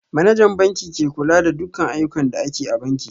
Manajan banki ke kula da dukan ayyukan da ake a banki